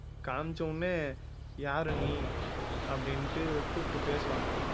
காமிச்ச உடனே யாரு நீ அப்படின்ட்டு கூப்பிட்டு பேசுவாங்க